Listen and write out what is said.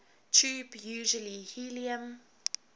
tube usually helium